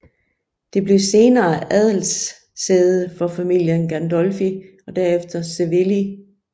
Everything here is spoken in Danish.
Det blev senere adelssæde for familien Gandolfi og derefter Savelli